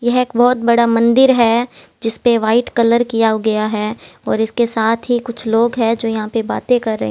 यह एक बहुत बड़ा मंदिर है जिस परे वाइट कलर किया गया है और इसके साथ ही कुछ लोग हैं जो यहाँ पर बातें कर रहे--